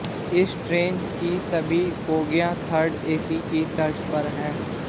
इस ट्रेन की सभी बोगियां थर्ड एसी की तर्ज पर हैं